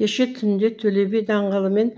кеше түнде төле би даңғылы мен